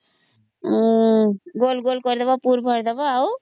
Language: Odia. ଗୋଲଗୋଲ କରିଦେବା ପୁତ୍ର ଭରିଦବା ଆଉ